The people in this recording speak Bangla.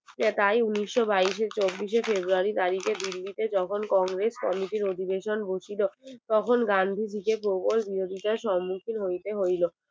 তাই উনিশশো বাইসের চব্বিশে february দিল্লি তে তখন কংগ্রেস Comity র অধিবেশন বসেছিল তখন গান্ধী জিকে প্রবল বিরোধিতার সম্মুখীন হইতে হইলো